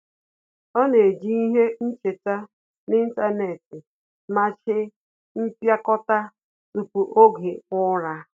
Ọ́ nà-ejì ihe ncheta n’ị́ntánétị̀ màchí mpịakọta tupu oge ụ́rà.